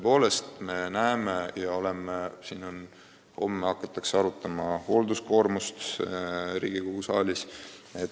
Homme hakatakse Riigikogu saalis arutama hoolduskoormust.